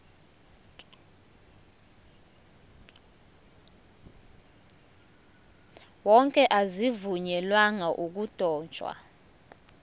wonke azivunyelwanga ukudotshwa